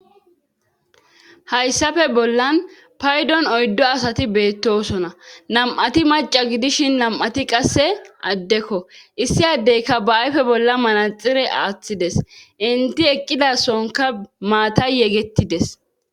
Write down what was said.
hayssafe bollan paydon oyddo asati beettosona lam7ati maca gidishin lam7ati qasse addekko issi addeyka ba7ayfe bolla manaxire aaththides inti eqqida sonka maatay yegettides